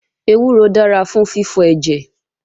Ewúro dára fún fífọ ẹ̀jẹ̀